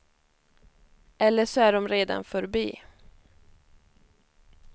Eller så är dom redan förbi.